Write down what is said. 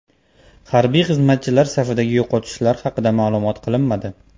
Harbiy xizmatchilar safidagi yo‘qotishlar haqida ma’lum qilinmadi.